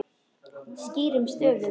Skýrum stöfum.